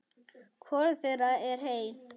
Hvorug þeirra er heil.